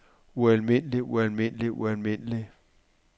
ualmindelig ualmindelig ualmindelig